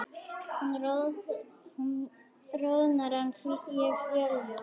Hún roðnar en ég fölna.